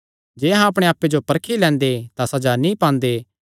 जे अहां अपणे आप्पे जो परखी लैंदे तां सज़ा नीं पांदे